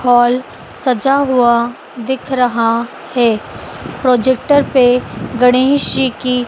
hall सजा हुआ दिख रहा है प्रोजेक्टर पे गणेश जी की--